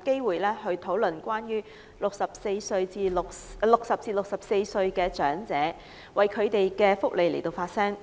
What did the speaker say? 機會為60歲至64歲長者的福利發聲。